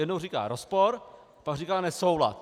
Jednou říká rozpor, pak říká nesoulad.